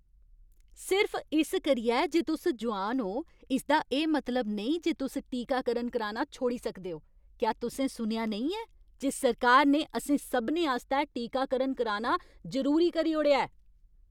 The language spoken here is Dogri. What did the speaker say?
सिर्फ इस करियै जे तुस जोआन ओ, इसदा एह् मतलब नेईं जे तुस टीकाकरण कराना छोड़ी सकदे ओ। क्या तुसें सुनेआ नेईं ऐ जे सरकार ने असें सभनें आस्तै टीकाकरण कराना जरूरी करी ओड़ेआ ऐ?